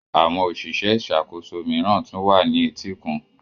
Àwọn òṣìṣẹ́ ìṣàkóso mìíràn tún wà ní etíkun.